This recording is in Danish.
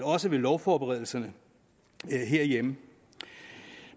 også i lovforberedelserne herhjemme